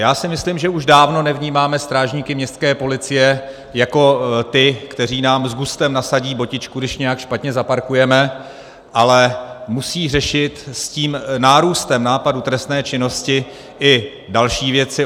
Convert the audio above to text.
Já si myslím, že už dávno nevnímáme strážníky městské policie jako ty, kteří nám s gustem nasadí botičku, když nějak špatně zaparkujeme, ale musí řešit s tím nárůstem nápadu trestné činnosti i další věci.